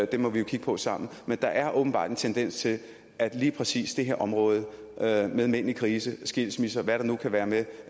dem må vi jo kigge på sammen men der er åbenbart en tendens til at lige præcis det her område med mænd i krise skilsmisse og hvad der nu kan være med